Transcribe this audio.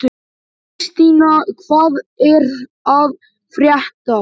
Kristína, hvað er að frétta?